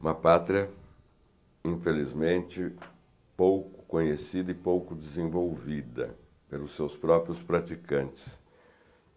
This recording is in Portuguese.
Uma pátria, infelizmente, pouco conhecida e pouco desenvolvida pelos seus próprios praticantes.